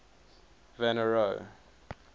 van der rohe